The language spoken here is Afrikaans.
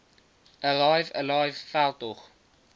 arrive alive veldtog